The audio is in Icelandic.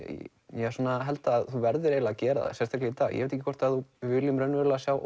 ég held að þú verðir að gera það í dag ég veit ekki hvort við viljum raunverulega sjá